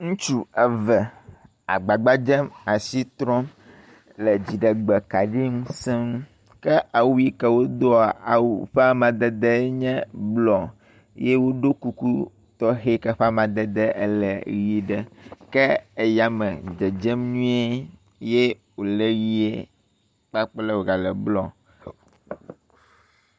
Ŋutsu eve agbagba dzem asi trɔm le dziɖegbe kaɖi ŋusẽ ŋu ke awu ʋi yike wodoa, awu ƒe amadede nye blɔ ye woɖɔ kuku tɔxe yi ke ƒe amadede le yi ɖe ke eyame dzedzem nyuie ye wole ʋie kpakple wogale blɔ.